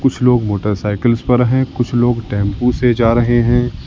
कुछ लोग मोटरसाइकिल्स पर हैं कुछ लोग टेंपो से जा रहे हैं।